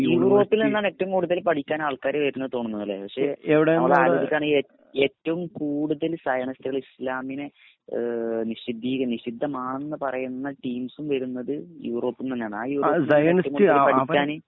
യൂറോപ്പിൽ നിന്നാണ് ഏറ്റവും കൂടുതൽ പഠിക്കാൻ ആള്‍ക്കാര് വരുന്നത് എന്ന് തോന്നുന്നു അല്ലേ. പക്ഷെ നമ്മള് ആലോചിക്കാണെങ്കില്‍ ഏറ്റവും കൂടുതൽ സയനിസ്റ്റുകള്‍ ഇസ്ലാമിനെ നിഷിദ്ധ നിഷിദ്ധമാണെന്ന് പറയുന്ന ടീംസും വരുന്നത് യൂറോപ്പിൽ നിന്ന് തന്നെയാണ്. ആ യൂറോപ്പിൽ